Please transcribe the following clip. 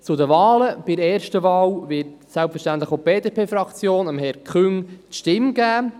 Zu den Wahlen: Bei der ersten Wahl wird selbstverständlich auch die BDP-Fraktion Herrn Küng die Stimme geben.